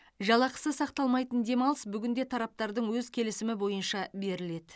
жалақысы сақталмайтын демалыс бүгінде тараптардың өз келісімі бойынша беріледі